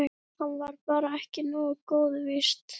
Hann var bara ekki nógu góður, víst.